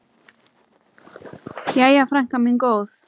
Jæja, frænka mín góð.